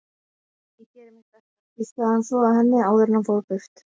Ég geri mitt besta, hvíslaði hann svo að henni áður en hann fór burt.